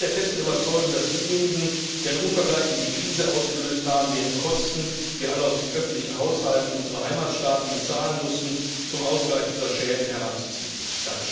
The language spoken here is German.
Wir sind der festen Überzeugung, dass diejenigen, die eine unvergleichliche Krise ausgelöst haben, deren Kosten wir alle aus den öffentlichen Haushalten unserer Heimatstaaten bezahlen mussten, zum Ausgleich dieser Schäden heranzuziehen sind.